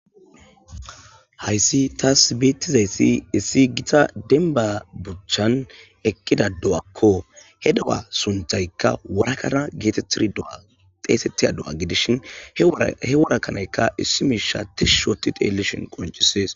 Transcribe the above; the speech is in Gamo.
hayssi taas beettizayssi issi gita denba buchchan eqqida do7akko he du7a sunthaykka warakana geetettirdxeesettiya do7a gidishin he worakanaykka issi miisha tish shooti teellishin qoncisees